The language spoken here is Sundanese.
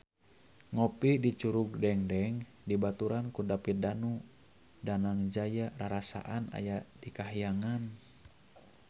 Ngopi di Curug Dengdeng dibaturan ku David Danu Danangjaya rarasaan aya di kahyangan